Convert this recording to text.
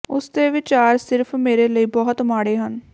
ਉਸ ਦੇ ਵਿਚਾਰ ਸਿਰਫ ਮੇਰੇ ਲਈ ਬਹੁਤ ਮਾੜੇ ਹਨ